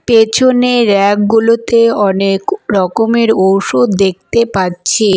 পেছনে র‍্যাক গুলোতে অনেক ক রকমের ঔষধ দেখতে পারছি।